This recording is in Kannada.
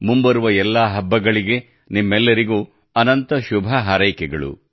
ಮುಂಬರುವ ಎಲ್ಲಾ ಹಬ್ಬಗಳಿಗೆ ನಿಮ್ಮೆಲ್ಲರಿಗೂ ಅನಂತ ಶುಭ ಹಾರೈಕೆಗಳು